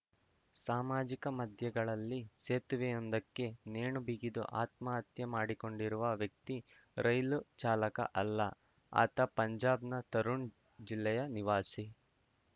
ಸಾಮಾಜಿಕ ಮಾಧ್ಯಗಳಲ್ಲಿ ಸೇತುವೆಯೊಂದಕ್ಕೆ ನೇಣು ಬಿಗಿದು ಆತ್ಮ ಹತ್ಯೆ ಮಾಡಿಕೊಂಡಿರುವ ವ್ಯಕ್ತಿ ರೈಲು ಚಾಲಕ ಅಲ್ಲ ಆತ ಪಂಜಾಬ್‌ನ ತರಣ್‌ ಜಿಲ್ಲೆಯ ನಿವಾಸಿ